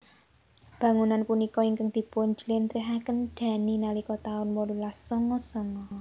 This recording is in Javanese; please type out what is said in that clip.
Bangunan punika ingkang dipun jlentrehaken Dhani nalika taun wolulas songo songo